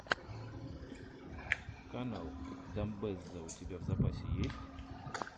канал дамбэзза у тебя в запасе есть